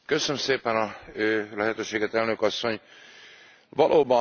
Valóban, a farkasok már az udvarunkban vannak.